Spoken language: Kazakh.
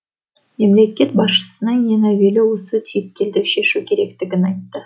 мемлекет басшысының ең әуелі осы түйткілді шешу керектігін айтты